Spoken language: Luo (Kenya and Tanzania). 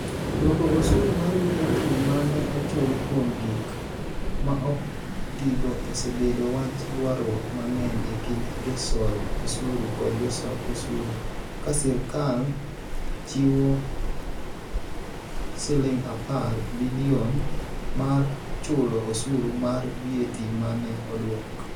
Duoko osuru mar VAT ma ne ochul kuom gik ma ok otigo osebedo wach ywaruok mang'eny e kind josol osuru kod josol osuru, ka sirkal chiwo Sh10 bilion mar chulo "osuru mar VAT" ma ne odwok.